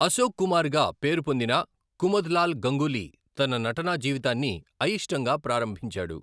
అశోక్ కుమారగా పేరు పొందిన కుముద్లాల్ గాంగూలి తన నటనా జీవితాన్ని అయిష్టంగా ప్రారంభించాడు.